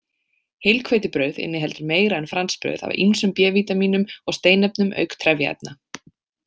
Heilhveitibrauð inniheldur meira en franskbrauð af ýmsum B-vítamínum og steinefnum auk trefjaefna.